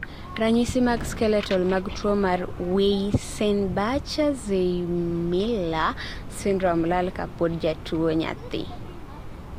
ranyisi mag skeletal mag tuwo mar Weissenbacher-Zweymller syndrome lal ka pod jatuwo nyathii